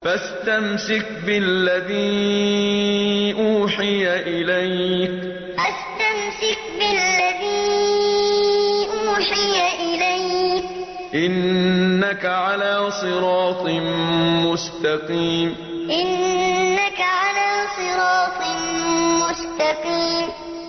فَاسْتَمْسِكْ بِالَّذِي أُوحِيَ إِلَيْكَ ۖ إِنَّكَ عَلَىٰ صِرَاطٍ مُّسْتَقِيمٍ فَاسْتَمْسِكْ بِالَّذِي أُوحِيَ إِلَيْكَ ۖ إِنَّكَ عَلَىٰ صِرَاطٍ مُّسْتَقِيمٍ